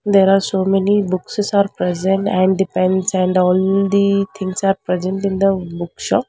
There are so many bookses are present and depends and on the things are present in the bookshop.